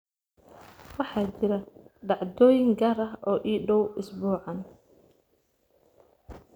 waxaa jira dhacdooyin gaar ah oo ii dhow isbuucaan